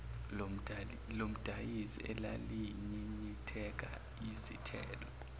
lomdayisi elalinyinyitheka yizithelo